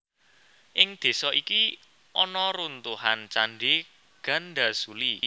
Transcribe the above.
Ing désa iki ana runtuhan Candhi Gandasuli